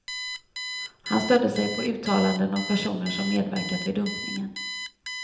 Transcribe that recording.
Han stödde sig på uttalanden av personer som medverkat vid dumpningen.